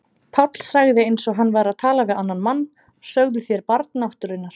Páll sagði eins og hann væri að tala við annan mann: Sögðuð þér Barn náttúrunnar?